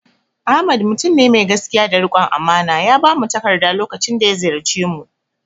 Ahmad mutum ne mai gaskiya da riƙon amana, ya bamu takarda lokacin da ziyarce mu